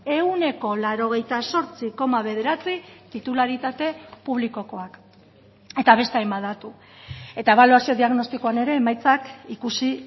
ehuneko laurogeita zortzi koma bederatzi titularitate publikokoak eta beste hainbat datu eta ebaluazio diagnostikoan ere emaitzak ikusi